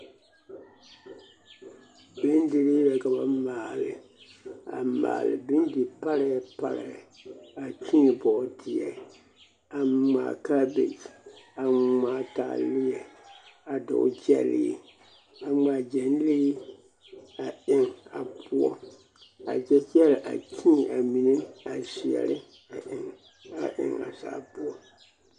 Nondirii la ka ba maale, a maale bondi parɛɛ parɛɛ, a kyēē bɔɔdeɛ, a ŋmaa kaabekyi, a ŋmaa taaleɛ a dɔgele gyɛlee, a ŋmaa gyɛnlee a eŋ a poɔ a kyɛ kyɛre a kyēē a mine a zeɛre a eŋ a eŋ a zaa poɔ.